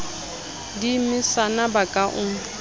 di mesana ba ka o